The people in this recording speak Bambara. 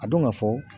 A dɔn ka fɔ